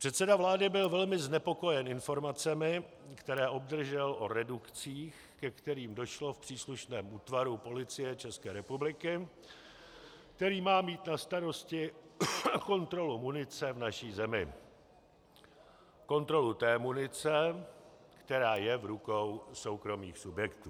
Předseda vlády byl velmi znepokojen informacemi, které obdržel o redukcích, ke kterým došlo v příslušném útvaru Policie České republiky, který má mít na starosti kontrolu munice v naší zemi, kontrolu té munice, která je v rukou soukromých subjektů.